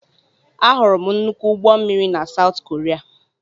Ahụrụ m nnukwu ụgbọ mmiri na South Korea.